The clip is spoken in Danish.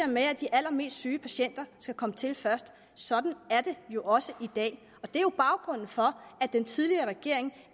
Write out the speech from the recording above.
med at de allermest syge patienter skal komme til først sådan er det jo også i dag baggrunden for at den tidligere regering